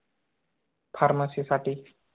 Pharmacy साठी